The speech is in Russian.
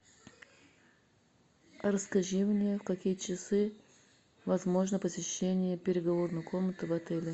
расскажи мне в какие часы возможно посещение переговорной комнаты в отеле